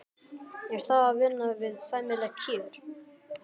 Er það að vinna við sæmileg kjör?